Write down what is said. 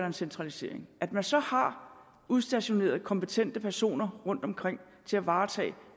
en centralisering at man så har udstationeret kompetente personer rundtomkring til at varetage